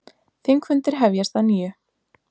Þingfundir hefjast að nýju